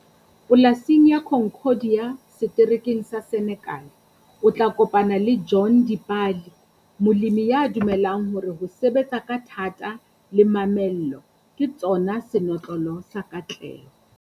Polasing ya Concordia, seterekeng sa Senekale, o tla kopana le John Dipali, molemi ya dumelang hore ho sebetsa ka thata le mamello ke tsona senotlolo sa katleho.